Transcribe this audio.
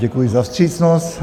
Děkuji za vstřícnost.